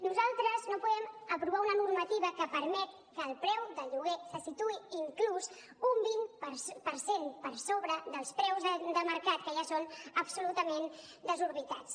nosaltres no podem aprovar una normativa que permet que el preu de lloguer se situï inclús un vint per cent per sobre dels preus de mercat que ja són absolutament desorbitats